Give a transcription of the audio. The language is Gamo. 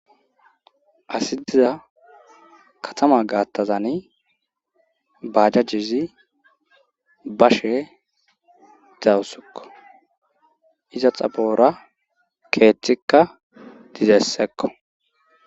Asi diza katama gaattazani bajajjezi bashe dawusukko iza xaphora keeththikka dizessekko.